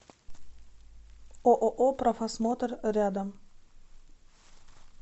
ооо профосмотр рядом